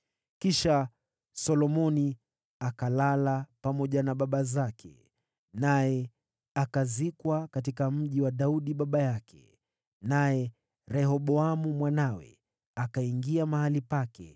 Kisha Solomoni akalala pamoja na baba zake, naye akazikwa katika mji wa Daudi baba yake. Naye Rehoboamu mwanawe akawa mfalme baada yake.